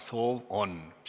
Soovi on.